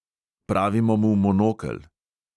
Pravimo mu monokel.